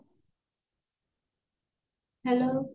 hello